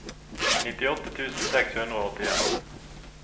nittiåtte tusen seks hundre og åttien